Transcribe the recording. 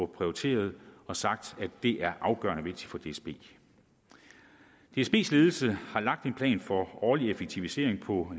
prioriteret og sagt at det er afgørende vigtigt for dsb dsbs ledelse har lagt en plan for årlige effektiviseringer på